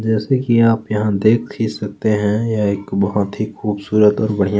जैसा की आप यहाँ देख ही सकते हैं यह एक बहुत ही खबसूरत और बढ़िया --